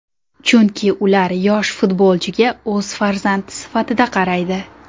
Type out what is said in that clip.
Chunki ular yosh futbolchiga o‘z farzandi sifatida qaraydi.